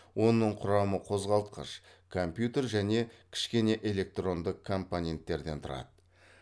оның құрамы қозғалтқыш компьютер және кішкене электронды компоненттерден тұрады ж